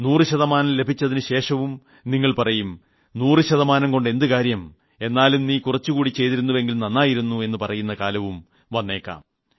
100 ശതമാനം ലഭിച്ചതിന് ശേഷവും നിങ്ങൾ പറയും 100 ശതമാനം കൊണ്ട് എന്ത് കാര്യം എന്നാലും നീ കുറച്ചുകൂടി ചെയ്തിരുന്നുവെങ്കിൽ നന്നായിരുന്നു എന്നു പറയുന്ന കാലവും വേന്നയ്ക്കാം